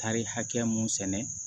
Tari hakɛ mun sɛnɛ